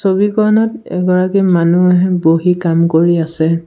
ছবিখনত এগৰাকী মানুহে বহি কাম কৰি আছে।